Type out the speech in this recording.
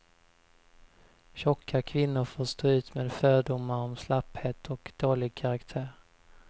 Tjocka kvinnor får stå ut med fördomar om slapphet och dålig karaktär.